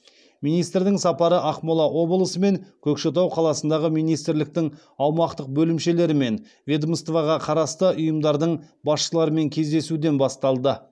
министрдің сапары ақмола облысы мен көкшетау қаласындағы министрліктің аумақтық бөлімшелері мен ведомствоға қарасты ұйымдардың басшыларымен кездесуден басталды